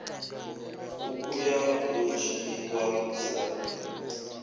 ṱhukhu ya ḓo dzhiiwa sa